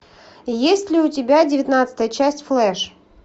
есть ли у тебя девятнадцатая часть флеш